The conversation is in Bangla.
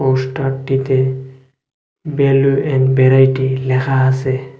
পোস্টার টিতে ব্যালু এন ব্যারাইটি লেখা আসে।